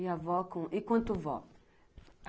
E a vó, e quanto vó?